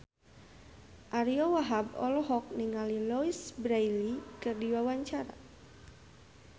Ariyo Wahab olohok ningali Louise Brealey keur diwawancara